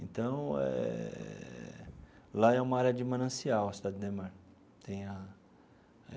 Então eh, lá é uma área de manancial, a Cidade Ademar tem a.